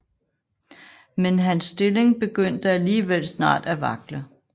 Men hans stilling begyndte alligevel snart at vakle